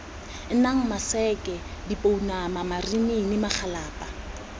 nang maseke dipounama marinini magalapa